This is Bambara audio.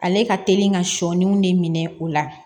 Ale ka teli ka sɔɔniw de minɛ o la